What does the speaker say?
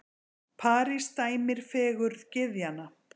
París dæmir fegurð gyðjanna.